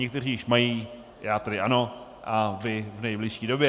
Někteří již mají, já tedy ano, a vy v nejbližší době.